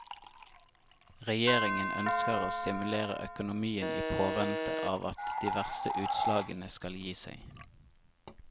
Regjeringen ønsker å stimulere økonomien i påvente av at de verste utslagene skal gi seg.